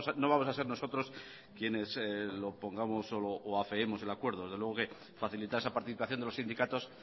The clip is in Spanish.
no vamos a ser nosotros quienes lo pongamos o afeemos el acuerdo desde luego que facilitar esa participación de los sindicatos